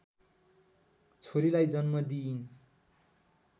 छोरीलाई जन्म दिइन्